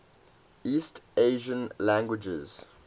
east asian languages